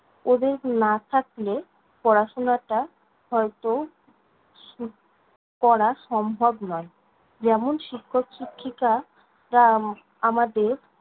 ওদের না থাকলে, পড়াশোনাটা হয়ত করা সম্ভব নয়। যেমন, শিক্ষক-শিক্ষিকারা আমাদের